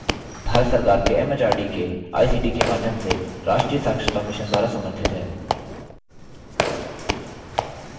भारत सरकार के एमएचआरडी के आईसीटी के माध्यम से राष्ट्रीय साक्षरता mission द्वारा समर्थित है